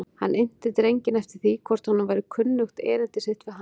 Hann innti drenginn eftir því hvort honum væri kunnugt erindi sitt við hann.